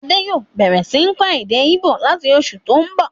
Adé yòó bẹ̀rẹ̀ sí ń kọ́ èdè íbò láti oṣù tó n bọ̀